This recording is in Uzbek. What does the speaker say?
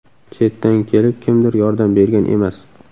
Chetdan kelib, kimdir yordam bergan emas.